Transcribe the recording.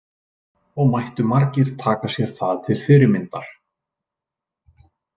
Og mættu margir taka sér það til fyrirmyndar.